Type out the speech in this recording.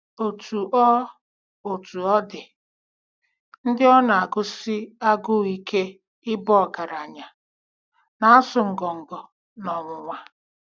Otú ọ Otú ọ dị, ndị ọ na-agụsi agụụ ike ịba ọgaranya, na-asụ ngọngọ n'ọnwụnwa. ”